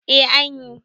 eh an yi